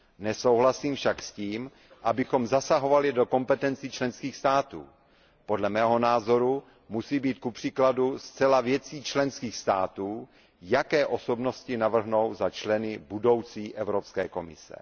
Nesouhlasím však s tím, abychom zasahovali do kompetencí členských států. Podle mého názoru musí být kupříkladu zcela věcí členských států, jaké osobnosti navrhnou za členy budoucí Evropské komise.